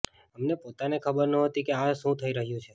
અમને પોતાને ખબર નહોતી કે આ શું થઈ રહ્યું છે